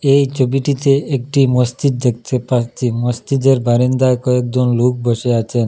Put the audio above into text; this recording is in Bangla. এই ছবিটিতে একটি মসজিদ দেখতে পাচ্ছি মসজিদের বারান্দায় কয়েকজন লোক বসে আছেন।